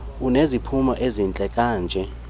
uneziphumo ezihle kanje